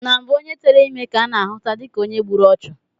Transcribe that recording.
Na mbụ onye tere ime ka a na-ahụta dịka onye gburu ọchụ